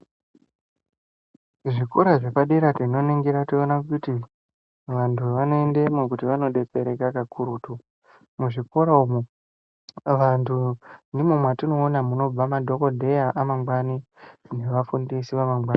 Zvikora zvepadera tinoningira toona kuti vantu vanoendemo kuti vanodetsereka kakurutu. Muzvikora umu vantu ndimwo mwatinoona munobva madhogodheya emangwani nevafundisi vamangwani.